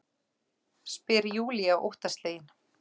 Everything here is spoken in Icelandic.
spyr Júlía óttaslegin.